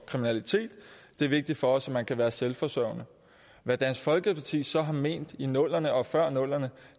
kriminalitet det er vigtigt for os at man kan være selvforsørgende hvad dansk folkeparti så har ment i nullerne og før nullerne